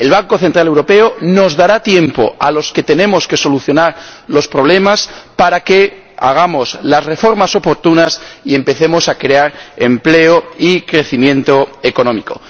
El Banco Central Europeo nos dará tiempo a los que tenemos que solucionar los problemas para que hagamos las reformas oportunas y empecemos a crear empleo y crecimiento económico.